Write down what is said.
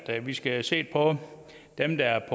at vi skal have set på dem der er